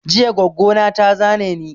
Jiya goggo na ta zane ni